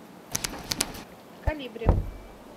колибри